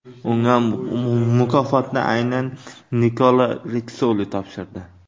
Unga mukofotni aynan Nikola Ritssoli topshirdi.